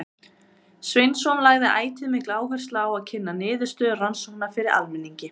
Sveinsson lagði ætíð mikla áherslu á að kynna niðurstöður rannsókna fyrir almenningi.